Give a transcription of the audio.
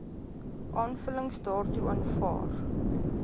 aanvullings daartoe aanvaar